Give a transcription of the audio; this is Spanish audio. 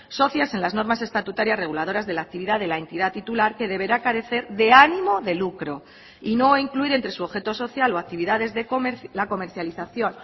socias en las normas estatutarias reguladoras de la actividad de la entidad titular que deberá carecer de ánimo de lucro y no incluir entre su objeto social o actividades la comercialización